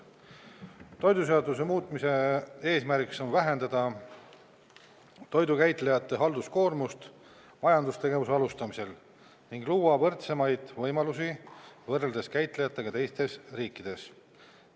Toiduseaduse muutmise eesmärgiks on vähendada toidukäitlejate halduskoormust majandustegevuse alustamisel ning luua võrdsemaid võimalusi võrreldes käitlejatega teistes riikides.